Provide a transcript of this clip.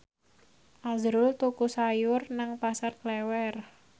azrul tuku sayur nang Pasar Klewer